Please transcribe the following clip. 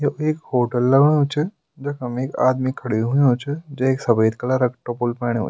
यु एक होटल लगणु च जखम एक आदमी खड्यू हुंयु च जैक सफ़ेद कलर क टोपुल पैण्यूं।